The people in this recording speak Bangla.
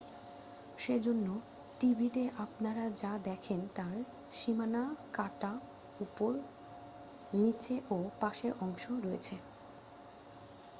সেজন্য টিভিতে আপনারা যা দেখেন তার সীমানা কাটা উপর নিচে ও পাশের অংশ রয়েছে